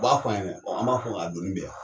U b'a f'an ɲɛnɛ, an b'a fɔ k'a donni bɛ yan.